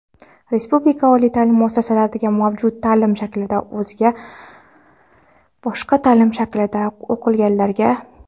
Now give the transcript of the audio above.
Respublika oliy taʼlim muassasalaridagi mavjud taʼlim shaklidan o‘zga (boshqa) taʼlim shaklida o‘qiganlarga;.